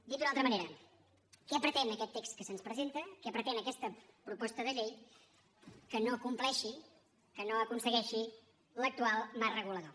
dit d’una altra manera què pretén aquest text que se’ns presenta què pretén aquesta proposta de llei que no compleixi que no aconsegueixi l’actual marc regulador